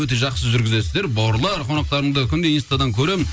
өте жақсы жүргізесіздер бауырлар қонақтарыңды күнде инстадан көремін